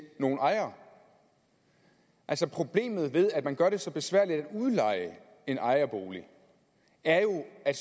ny ejer altså problemet ved at man gør det så besværligt at udleje en ejerbolig er jo at